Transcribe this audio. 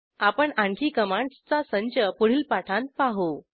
आपण आणखी कमांडसचा संच पुढील पाठांत पाहू